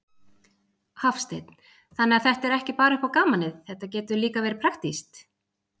Hafsteinn: Þannig að þetta er ekki bara upp á gamanið, þetta getur líka verið praktískt?